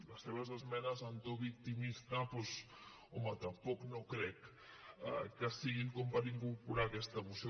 les seves esmenes en to victimista doncs home tampoc no crec que siguin com per incorporar les en aquesta moció